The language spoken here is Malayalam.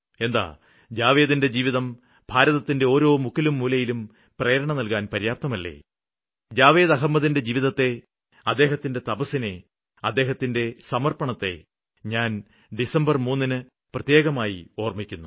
എന്താ ജാവേദിന്റെ ജീവിതം ഭാരതത്തിന്റെ ഓരോ മുക്കിലും മൂലയിലും പ്രേരണ നല്കാന് പര്യാപ്തമല്ലേ ജാവേദ് അഹമ്മദിന്റെ ജീവിതത്തെ അദ്ദേഹത്തിന്റെ തപസ്സിനെ അദ്ദേഹത്തിന്റെ സമര്പ്പണത്തെ ഞാന് ഡിസംബര് 3 ന് പ്രത്യേകമായി ഓര്മ്മിക്കുന്നു